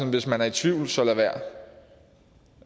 hvis man er i tvivl så lad være